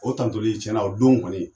O tantoli tiɲɛna o don kɔni